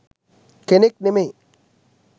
කෙනෙක් නෙමේ.